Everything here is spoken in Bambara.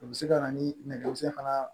O bɛ se ka na ni nɛgɛso fana